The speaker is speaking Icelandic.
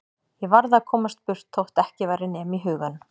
Ég varð að komast burt þótt ekki væri nema í huganum.